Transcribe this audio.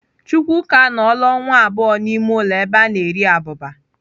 Chukwuka anọọla ọnwa abụọ n'ime ụlọ ebe a na-eri abụba.